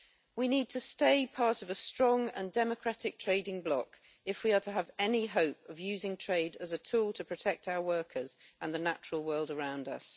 We need to stay part of a strong and democratic trading bloc if we are to have any hope of using trade as a tool to protect our workers and the natural world around us.